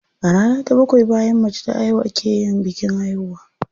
A rana ta bakwai bayan mace ta haihu a ke yin bikin haihuwa.